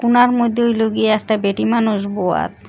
কুনার মদ্যে হইলো গিয়া একটা বেটি মানুষ বোয়াত।